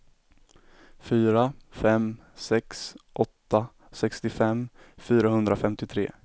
fyra fem sex åtta sextiofem fyrahundrafemtiotre